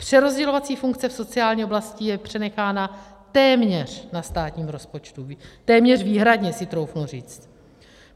Přerozdělovací funkce v sociální oblasti je přenechána téměř na státním rozpočtu, téměř výhradně, si troufnu říct.